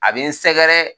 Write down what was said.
A bɛ n sɛgɛrɛ